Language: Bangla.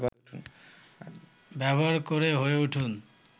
ব্যবহার করে হয়ে উঠুন